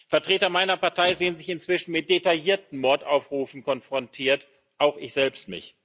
Vertreter meiner Partei sehen sich inzwischen mit detaillierten Mordaufrufen konfrontiert, auch ich selbst.